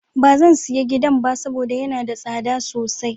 Ba zan sayi gidan ba saboda yana da tsada sosai.